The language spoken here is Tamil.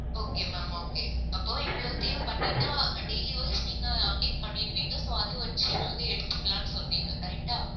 okay ma'am okay அப்போ இவ்ளோத்தையும் பண்ணிட்டா daily wise நீங்க update பண்ணிடுவீங்க so அதை வச்சே நாங்க எடுத்துக்கலாம்னு சொல்றீங்க correct ஆ